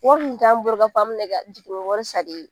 Wari dun t'an bolo k'a fɔ an bɛna e ka jiginni wari segin